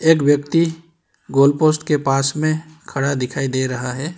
एक व्यक्ति goal post के पास में खड़ा दिखाई दे रहा है।